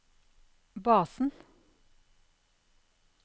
basen